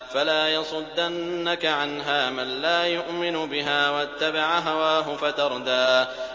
فَلَا يَصُدَّنَّكَ عَنْهَا مَن لَّا يُؤْمِنُ بِهَا وَاتَّبَعَ هَوَاهُ فَتَرْدَىٰ